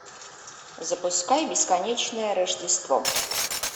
запускай бесконечное рождество